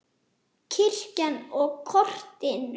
Kirkjan og kortin.